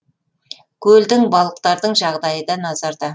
көлдің балықтардың жағдайы да назарда